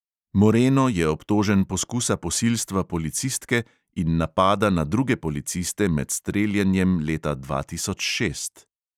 Moreno je obtožen poskusa posilstva policistke in napada na druge policiste med streljanjem leta dva tisoč šest.